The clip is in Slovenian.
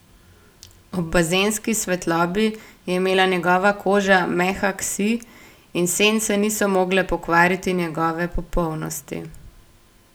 Ob bazenski svetlobi je imela njegova koža mehak sij in sence niso mogle pokvariti njegove popolnosti.